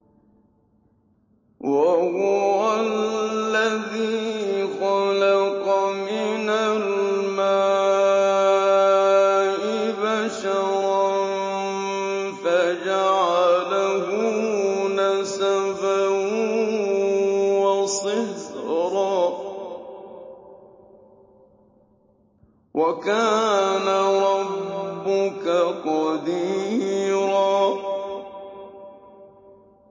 وَهُوَ الَّذِي خَلَقَ مِنَ الْمَاءِ بَشَرًا فَجَعَلَهُ نَسَبًا وَصِهْرًا ۗ وَكَانَ رَبُّكَ قَدِيرًا